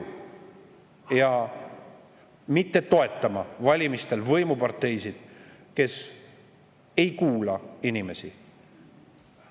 mitte toetama valimistel võimuparteisid, kes ei kuula inimesi.